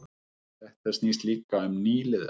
Þetta snýst líka um nýliðun